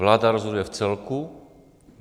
Vláda rozhoduje v celku.